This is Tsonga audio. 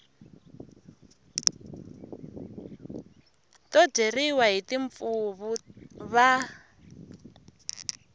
to dyeriwa hi timpfuvu va